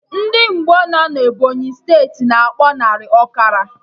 Ndị Ngbo nọ na Ebọnyị steeti, na akpọ narị, ọkara